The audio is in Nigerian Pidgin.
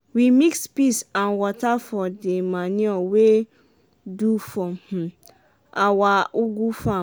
we mix piss and wata for de manure wey we do for um awa ugu farm.